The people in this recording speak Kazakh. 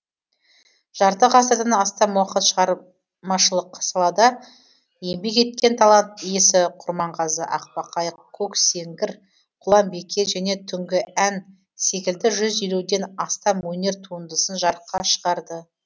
жарты ғасырдан астам уақыт шағар машылық салада еңбек еткен талант иесі құрманғазы ақбақай көксеңгір құлан бике және түнгі ән секілді жүз елуден астам өнер туындысын жарыққа шығарды